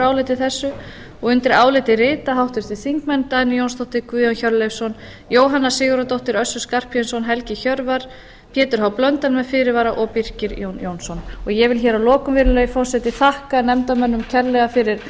áliti þessu og undir álitið rita háttvirtir þingmenn dagný jónsdóttir guðjón hjörleifsson jóhanna sigurðardóttir össur skarphéðinsson helgi hjörvar pétur h blöndal með fyrirvara og birkir jón jónsson ég vil að lokum virðulegi forseti þakka nefndarmönnum kærlega fyrir